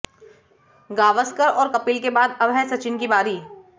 गावस्कर और कपिल के बाद अब है सचिन की बारी